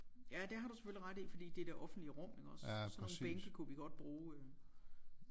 Ja det har du selvfølgelig ret i fordi det er det offentlige rum iggås sådan nogle bænke kunne vi godt bruge øh